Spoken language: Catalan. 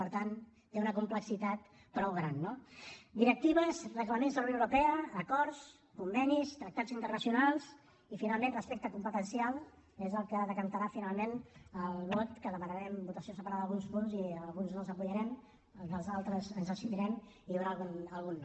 per tant té una complexitat prou gran no directives reglaments de la unió europea acords convenis tractats internacionals i finalment respecte competencial és el que decantarà finalment el vot que demanarem votació separada d’alguns punts i a alguns els donarem suport en els altres ens abstindrem i hi haurà algun no